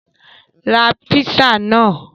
Ra písà náà!